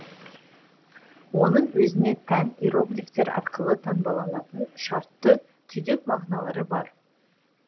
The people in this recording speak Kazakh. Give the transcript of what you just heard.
оның өзіне тән иероглифтер арқылы таңбаланатын шартты түйдек мағыналары бар